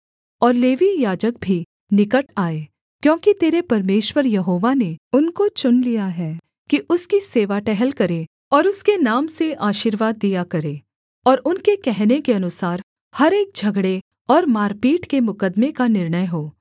और लेवीय याजक भी निकट आएँ क्योंकि तेरे परमेश्वर यहोवा ने उनको चुन लिया है कि उसकी सेवा टहल करें और उसके नाम से आशीर्वाद दिया करें और उनके कहने के अनुसार हर एक झगड़े और मारपीट के मुकद्दमे का निर्णय हो